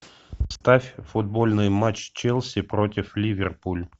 ставь футбольный матч челси против ливерпуль